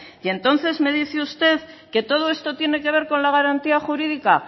y entonces me dice usted que todo esto tiene que ver con la garantía jurídica